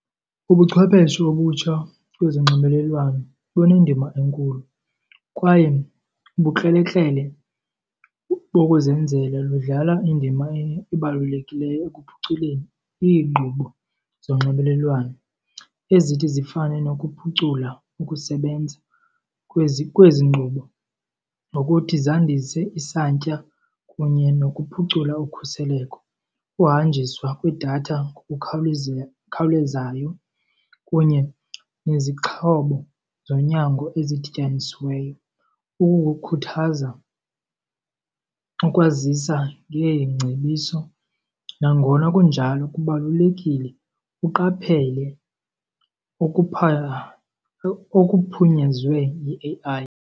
Ubuchwepheshe obutsha kwezonxibelelwano lunendima enkulu kwaye ubukrelekrele bokuzenzela ludlala indima ebalulekileyo ekuphuculeni iinkqubo zonxibelelwano ezithi zifane nokuphucula ukusebenza kwezi kwezi nkqubo. Nokuthi zandise isantya kunye nokuphucula ukhuseleko, uhanjiswa kwedatha ngokukhawuleze kunye nezixhobo zonyango ezidityanisiweyo, oku kukhuthaza ukwazisa ngeengcebiso. Nangona kunjalo kubalulekile uqaphele okuphunyezwe yi-A_I.